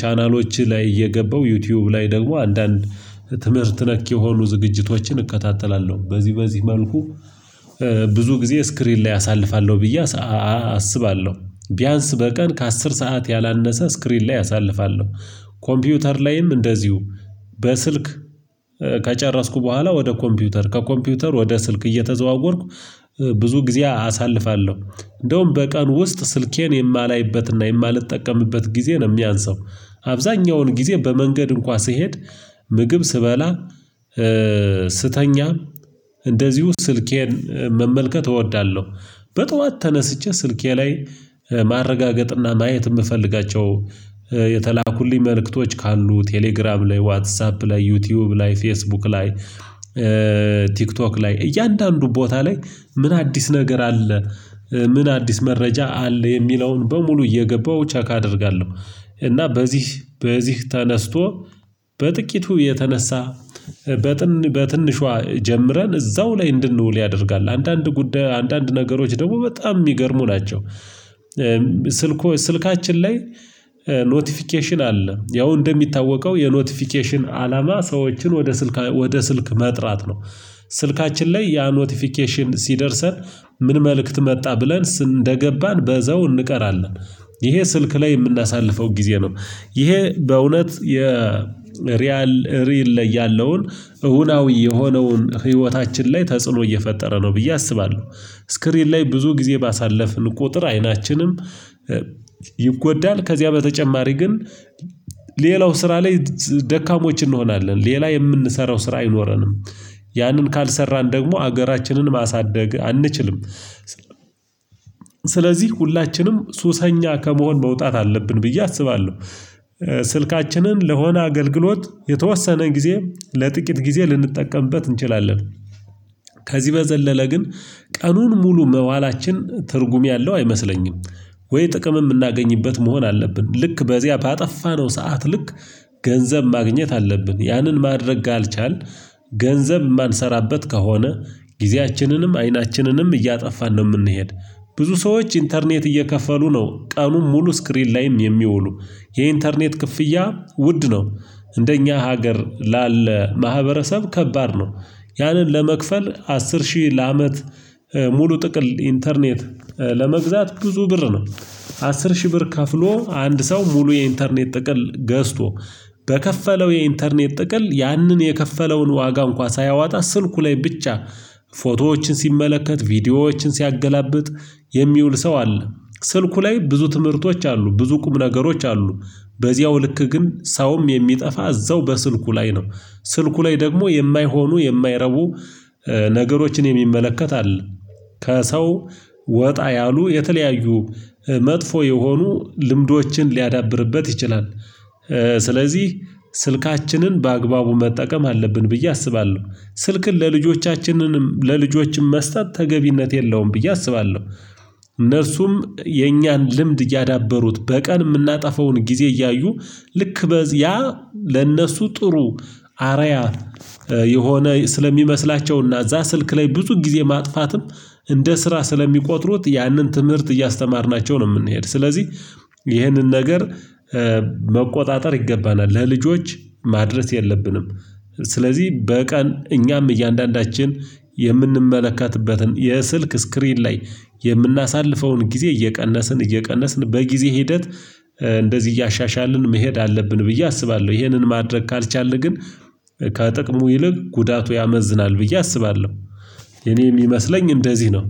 ቻናሎች ላይ እየገባው ዩቲዩብ ላይ ደግሞ አንዳንድ ትምህርት ነክ የሆኑ ዝግጅቶችን እከታተላለሁ በዚህ በዚህ መልኩ ብዙ ጊዜ ስክሪን ላይ አሳልፋለሁ ብዬ አስባለሁ። ቢያንስ በቀን ከአስር ሰዓት ያላነሰ ስክሪን ላይ አሳልፋለሁ። ኮምፒውተር ላይም እንደዚሁ በስልክ ከጨረስኩ በኋላ ወደ ኮምፒውተር ከኮምፒውተር ወደ ስልክ እየተዘዋወርኩ ብዙ ጊዜ አሳልፋለሁ። እንደውም በቀን ውስጥ ስልኬን የማላይበትና የማልጠቀምበት ጊዜ ነው የሚያንሰው። አብዛኛውን ጊዜ በመንገድ እንኳን ስሄድ ምግብ ስበላ ስተኛ እንደዚሁ ስልኬን መመልከት እወዳለሁ። በጧት ተነስቼ ስልኬ ላይ ማረጋገጥና ማየት የምፈልጋቸው የተላኩልኝ መልእክቶች ካሉ ቴሌግራም ላይ ዋትሳፕ ላይ ዩቲዩብ ላይ ፌስቡክ ላይ ቲክቶክ ላይ እያንዳንዱ ቦታ ላይ ምን አዲስ ነገር አለ ምን አዲስ መረጃ አለ የሚለውን በሙሉ እየገባው ቸክ አደርጋለሁ። እና በዚህ በዚህ ተነስቶ በጥቂቱ የተነሳ በትንሿ ጀምረን እዛው ላይ እንድንውል ያደርጋል አንዳንድ ጉዳይ አንዳንድ ነገሮች ደግሞ በጣም የሚገርሙ ናቸው። ስልኮ ስልካችን ላይ ኖቲፊኬሽን አለ ያው እንደሚታወቀው የኖቲፊኬሽን አላማ ሰዎችን ወደ ስልክ መጥራት ነው። ስልካችን ላይ ያ ኖቲፊኬሽን ሲደርሰን ምን መልእክት መጣ ብለን እንደገባን በዛው እንቀራለን። ይሄ ስልክ ላይ የምናሳልፈው ጊዜ ነው ይሄ በእውነት የሪያል ሪል ላይ ያለውን እውናዊ የሆነውን ህይወታችን ላይ ተጽዕኖ እየፈጠረ ነው ብዬ አስባለሁ። ስክሪን ላይ ብዙ ጊዜ ባሳለፍን ቁጥር አይናችንም ይጎዳል። ከዚያ በተጨማሪ ግን ሌላው ስራ ላይ ደካሞች እንሆናለን ሌላ የምንሰራው ስራ አይኖረንም። ያንን ካልሰራን ደግሞ ሀገራችንን ማሳደግ አንችልም። ስለዚህ ሁላችንም ሱሰኛ ከመሆን መውጣት አለብን ብዬ አስባለሁ። ስልካችንን ለሆነ አገልግሎት የተወሰነ ጊዜ ለጥቂት ጊዜ ልንጠቀምበት እንችላለን። ከዚህ በዘለለ ግን ቀኑን ሙሉ መዋላችን ትርጉም ያለው አይመስለኝም። ወይ ጥቅም የምናገኝበት መሆን አለብን ልክ በዚያ ባጠፋነው ሰዓት ልክ ገንዘብ ማግኘት አለብን ያንን ማድረግ ካልቻልን ገንዘብ የማንሰራበት ከሆነ ጊዜያችንንም አይናችንንም እያጠፋን ነው የምንሄድ። ብዙ ሰዎች ኢንተርኔት እየከፈሉ ነው ቀኑን ሙሉ ስክሪን ላይም የሚውሉ የኢንተርኔት ክፍያ ውድ ነው። እንደኛ ሀገር ላለ ማህበረሰብ ከባድ ነው። ያንን ለመክፈል አስር ሺህ ለአመት ሙሉ ጥቅል ኢንተርኔት ለመግዛት ብዙ ብር ነው። አስር ሺህ ብር ከፍሎ አንድ ሰው ሙሉ የኢንተርኔት ጥቅል ገዝቶ በከፈለው የኢንተርኔት ጥቅል ያንን የከፈለውን ዋጋ እንኳን ሳያወጣ ስልኩ ላይ ብቻ ፎቶዎችን ሲመለከት ቪዲዮዎችን ሲያገላብጥ የሚውል ሰው አለ። ስልኩ ላይ ብዙ ትምህርቶች አሉ ብዙ ቁም ነገሮች አሉ። በዚያው ልክ ግን ሰውም የሚጠፋ እዛው በስልኩ ላይ ነው። ስልኩ ላይ ደግሞ የማይሆኑ የማይረቡ ነገሮችን የሚመለከት አለ። ከሰው ወጣ ያሉ የተለያዩ መጥፎ የሆኑ ልምዶችን ሊያዳብርበት ይችላል። ስለዚህ ስልካችንን በአግባቡ መጠቀም አለብን ብዬ አስባለሁ። ስልክን ለልጆቻችንንም ለልጆችም መስጠት ተገቢነት የለውም ብዬ አስባለሁ። እነርሱም የእኛን ልምድ እያዳበሩት በቀን የምናጠፋውን ጊዜ እያዩ ልክ በዚያ ለእነሱ ጥሩ አርአያ የሆነ ስለሚመስላቸውና እዛ ስልክ ላይ ብዙ ጊዜ ማጥፋትም እንደ ስራ ስለሚቆጥሩት ያንን ትምህርት እያስተማርናቸው ነው የምንሄድ ስለዚህ ይህንን ነገር መቆጣጠር ይገባናል ለልጆች ማድረስ የለብንም። ስለዚህ በቀን እኛም እያንዳንዳችን የምንመለከትበትን የስልክ ስክሪን ላይ የምናሳልፈውን ጊዜ እየቀነስን እየቀነስን በጊዜ ሂደት እንደዚህ እያሻሻልን መሄድ አለብን ብዬ አስባለሁ ይሄንን ማድረግ ካልቻልን ግን ከጥቅሙ ይልቅ ጉዳቱ ያመዝናል ብዬ አስባለሁ። የኔ የሚመስለኝ እንደዚህ ነው።